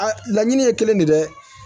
laɲini ye kelen de ye dɛ